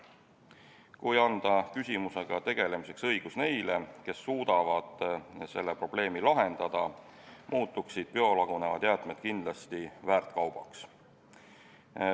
Kui anda õigus küsimusega tegeleda neile, kes suudavad selle probleemi lahendada, muutuksid biolagunevad jäätmed kindlasti väärt kaubaks.